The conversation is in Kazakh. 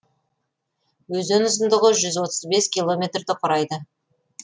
өзен ұзындығы жүз отыз бес километрді құрайды